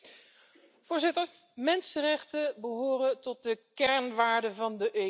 Voorzitter, mensenrechten behoren tot de kernwaarden van de EU.